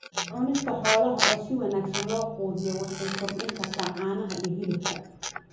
Cunista xoolaha oo si wanaagsan loo quudiyaa waxay kordhin kartaa caanaha iyo hilibka.